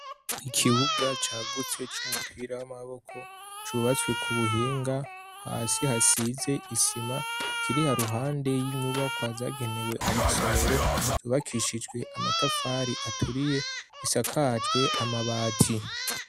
Ikibuga cagutse c'umupira w'amaboko cubatswe ku buhinga, hasi hasize isima, kiri haruhande y'inyubakwa zagenewe amasomero, zubakishijwe amatafari aturiye, isakajwe amabati.